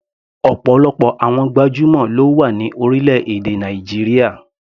Ọ̀pọ̀lọpọ̀ àwọn gbajúmọ̀ ló wà ní orílẹ̀-èdè Nàìjíríà.